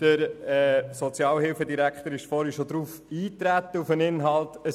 Der Sozialhilfedirektor ist bereits vorhin auf deren Inhalt eingetreten.